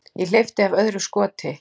Ég hleypti af öðru skoti.